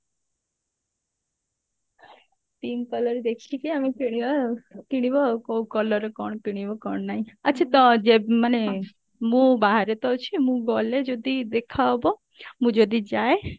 pink colour ଦେଖିକି ଆମେ କିଣିବା କିଣିବା ଆଉ କଉ colour ର କଣ କିଣିବ କଣ ନାଇଁ ଆଛା ତ ଯେ ମାନେ ମୁଁ ବାହାରେ ତ ଅଛି ମୁଁ ଗଲେ ଯଦି ଦେଖା ହବ ମୁଁ ଯଦି ଯାଏ